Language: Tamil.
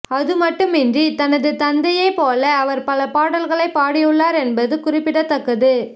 அது மட்டுமின்றி தனது தந்தையைப் போல அவர் பல பாடல்களைப் பாடியுள்ளார் என்பதும் குறிப்பிடத்தக்கது